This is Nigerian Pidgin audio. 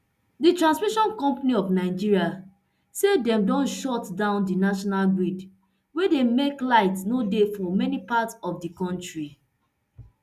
di transmission company of nigeria say dem don shut down di national grid wey don make light no dey for many parts of di kontri